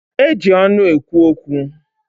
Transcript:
Eji ọnụ ekwu okwu.